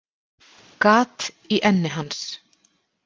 Gat í enni hans.